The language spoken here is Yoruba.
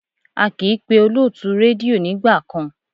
A kì í pé olótùú rédíò nígbà kan.